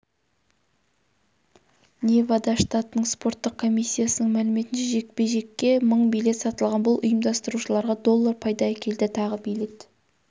невада штатының спорттық комиссиясының мәліметінше жекпе-жекке мың билет сатылған бұл ұйымдастырушыларға доллар пайда әкелді тағы билет